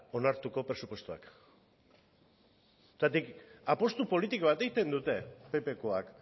onartuko presupuestoak zergatik apustu politiko bat egiten dute ppkoak